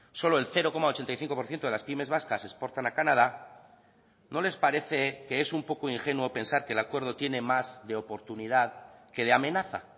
solo el cero coma ochenta y cinco por ciento de las pymes vascas exportan a canadá no les parece que es un poco ingenuo pensar que el acuerdo tiene más de oportunidad que de amenaza